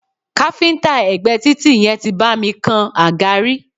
Káfíńńtà ẹ̀gbé títì yẹn tí bá mi kan àga rí.